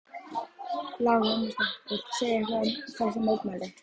Lára Ómarsdóttir: Viltu segja eitthvað um þessi mótmæli?